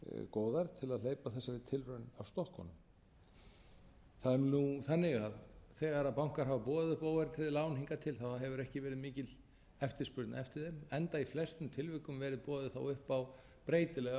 góðar til að hleypa þessari tilraun af stokkunum það er nú þannig að þegar bankar hafa boðið óverðtryggð lán hingað til hefur ekki verið mikil eftirspurn eftir þeim enda í flestum tilvikum verið boðið upp á breytilega